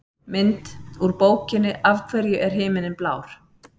Mynd: Úr bókinni Af hverju er himinninn blár?